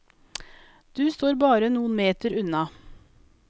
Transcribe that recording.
Du står bare noen meter unna.